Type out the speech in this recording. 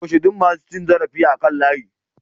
Toshe duk masu cin zarafi akan layi